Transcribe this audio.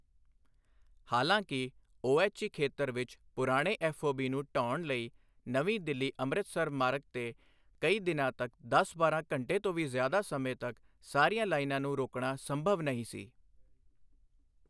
ਹਾਲਾਂਕਿ ਓਐੱਚਈ ਖੇਤਰ ਵਿੱਚ ਪੁਰਾਣੇ ਐੱਫਓਬੀ ਨੂੰ ਢਹਾਉਣ ਲਈ ਨਵੀਂ ਦਿੱਲੀ ਅੰਮ੍ਰਿਤਸਰ ਮਾਰਗ ਤੇ ਕਈ ਦਿਨਾਂ ਤੱਕ ਦਸ ਬਾਰਾਂ ਘੰਟੇ ਤੋਂ ਵੀ ਜ਼ਿਆਦਾ ਸਮੇਂ ਤੱਕ ਸਾਰੀਆਂ ਲਾਈਨਾਂ ਨੂੰ ਰੋਕਣਾ ਸੰਭਵ ਨਹੀਂ ਸੀ।